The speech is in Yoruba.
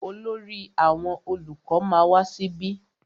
Olórí àwọn olùkọ ma wá síbí.